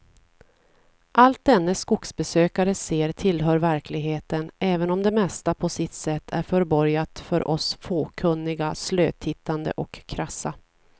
Allt denne skogsbesökare ser tillhör verkligheten, även om det mesta på sitt sätt är förborgat för oss fåkunniga, slötittande och krassa.